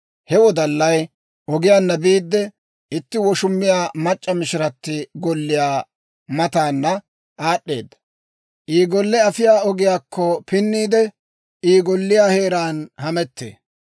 He wodallay ogiyaanna biide, itti woshummiyaa mac'c'a mishirati golliyaa mataana aad'd'eedda; I golle afiyaa ogiyaakko pinniide, I golliyaa heeraan hamettee.